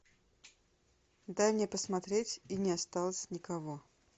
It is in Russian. дай мне посмотреть и не осталось никого